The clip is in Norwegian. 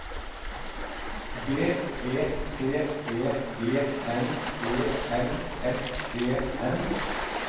B E T E G N E L S E N